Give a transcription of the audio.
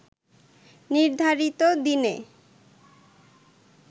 নির্ধারিতদিনে